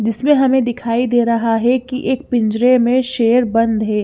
जिसमें हमें दिखाई दे रहा है कि एक पिंजरे में शेर बंद है।